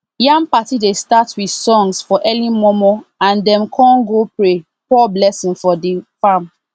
yam party dey start with songs for early mornmorn and dem con go pray pour blessing for the farm